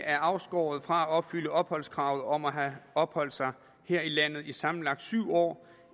er afskåret fra at opfylde opholdskravet om at have opholdt sig her i landet i sammenlagt syv år